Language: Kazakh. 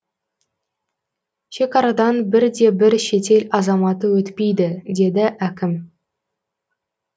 шекарадан бір де бір шетел азаматы өтпейді деді әкім